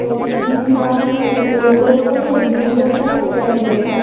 यहां पे तीन गिटार है एक येलो कलर का है ब्लू कलर का एक रेड कलर का है।